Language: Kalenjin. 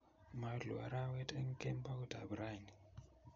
Moluu arawet eng kemboutab rani